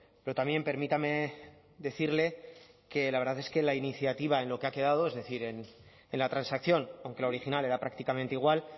pero también permítame decirle que la verdad es que la iniciativa en lo que ha quedado es decir en la transacción aunque la original era prácticamente igual